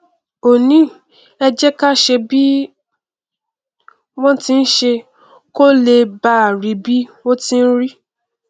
ó ní ẹ jẹ ká ṣeé bí wọn ti n ṣeé kó lè báà rí bí ó tí n rí